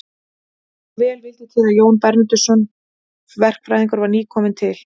Svo vel vildi til að Jón Bernódusson verkfræðingur var nýkominn til